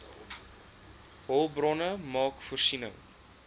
hulpbronne maak voorsiening